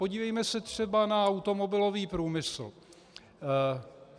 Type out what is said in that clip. Podívejme se třeba na automobilový průmysl.